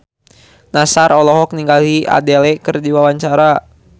Nassar olohok ningali Adele keur diwawancara